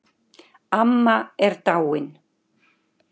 Amma er dáin